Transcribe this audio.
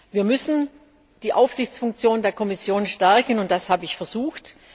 Wir müssen die Aufsichtsfunktion der Kommission stärken, und das habe ich versucht.